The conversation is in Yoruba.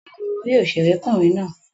Bẹ́ẹ̀ni, mo rí òṣèré kùnrin náà